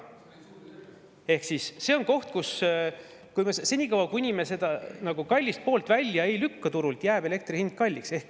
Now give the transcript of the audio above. Ehk siis senikaua, kuni me kallist poolt turult välja ei lükka, jääb elektri hind kalliks.